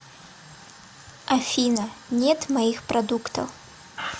афина нет моих продуктов